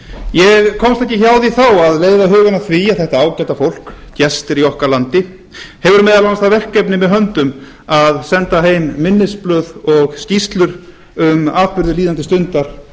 ég komst ekki hjá því þá að leiða hugann að því að þetta ágæta fólk gestir í okkar landi hefur meðal annars það verkefni með höndum að senda heim minnisblöð og skýrslur um atburði líðandi stundar